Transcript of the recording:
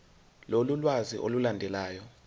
lolu lwazi olulandelayo